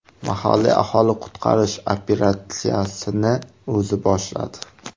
Mahalliy aholi qutqarish operatsiyasini o‘zi boshladi.